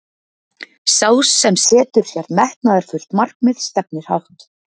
sá sem setur sér metnaðarfullt markmið stefnir hátt